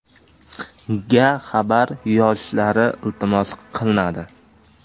”ga xabar yozishlari iltimos qilinadi.